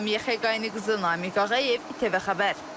Lamiyə Xəqaniqızı Namiq Ağayev, TV xəbər.